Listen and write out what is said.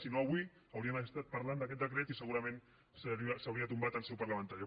si no avui hauríem estat parlant d’aquest decret i segurament s’hauria tombat en seu parlamentària